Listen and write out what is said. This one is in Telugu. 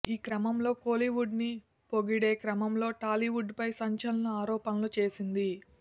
ఈ క్రమంలో కోలీవుడ్ ని పొగిడే క్రమంలో టాలీవుడ్ పై సంచలన ఆరోపణలు చేసింది